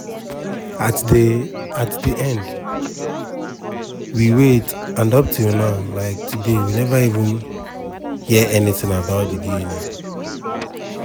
"at di "at di end we wait and up till um today we no hear anytin about di dna.